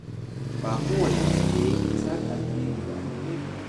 Ba kowane mutum ne yake saka alheri da alheri ba.